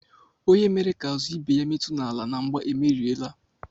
Onye mere ka azụ ibe ya metu n'ala na mgbà emeriela.